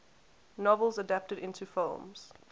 novels adapted into films